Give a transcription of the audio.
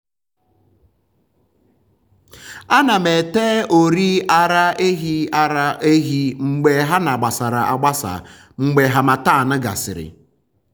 ana m ete ọrị ara ehi ara ehi mgbe ha gbasara agbasa mgbe harmattan gasịrị.